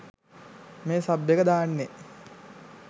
මේ සබ් එක දාන්නේ.